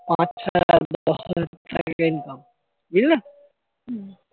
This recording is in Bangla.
sided income বুঝলে